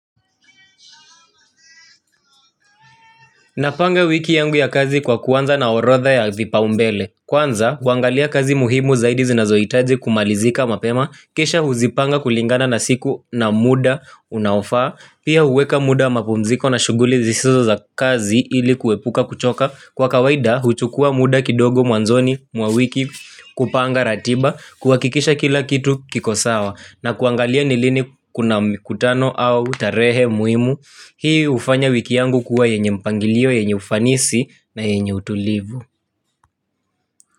Napanga wiki yangu ya kazi kwa kuanza na orodha ya vipaumbele. Kwanza, kuangalia kazi muhimu zaidi zinazohitaji kumalizika mapema. Kisha huzipanga kulingana na siku na muda unaofaa. Pia huweka muda wa mapumziko na shughuli zisizo za kazi ili kuepuka kuchoka. Kwa kawaida, huchukua muda kidogo mwanzoni mwawiki kupanga ratiba, kuhakikisha kila kitu kikosawa. Na kuangalia nilini kuna mkutano au tarehe muhimu. Hii ufanya wiki yangu kuwa yenye mpangilio, yenye ufanisi na yenye utulivu.